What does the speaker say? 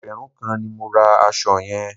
Ẹgbẹ̀rún kan ni mo ra aṣọ yẹn.